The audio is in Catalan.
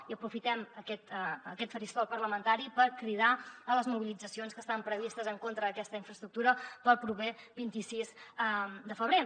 i aprofitem aquest faristol parlamentari per cridar a les mobilitzacions que estan previstes en contra d’aquesta infraestructura per al proper vint sis de febrer